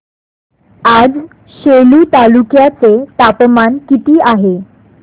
आज सेलू तालुक्या चे तापमान किती आहे